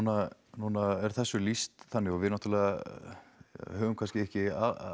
núna er þessu lýst þannig og við náttúrulega höfum kannski ekki